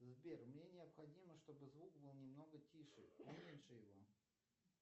сбер мне необходимо чтобы звук был немного тише уменьши его